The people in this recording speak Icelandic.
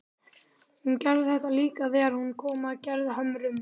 Hún gerði þetta líka þegar hún kom að Gerðhömrum.